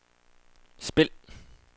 spil